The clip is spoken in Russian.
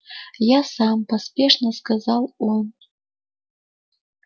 я сам поспешно сказал он